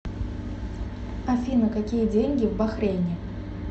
афина какие деньги в бахрейне